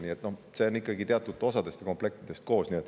Nii et see kõik koosneb ikkagi teatud osadest ja komplektidest.